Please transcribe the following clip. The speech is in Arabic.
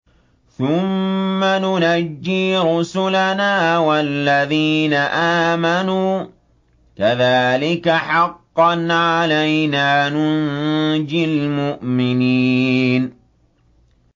ثُمَّ نُنَجِّي رُسُلَنَا وَالَّذِينَ آمَنُوا ۚ كَذَٰلِكَ حَقًّا عَلَيْنَا نُنجِ الْمُؤْمِنِينَ